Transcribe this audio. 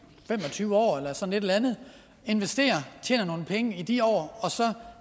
tyve år eller sådan et eller andet investerer og tjener nogle penge i de år og så